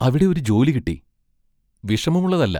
അവിടെ ഒരു ജോലി കിട്ടി; വിഷമമുള്ളതല്ല.